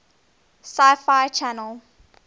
sci fi channel